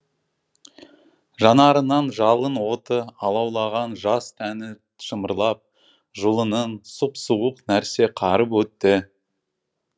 жанарынан жалын оты алаулаған жас тәні шымырлап жұлынын сұп суық нәрсе қарып өтті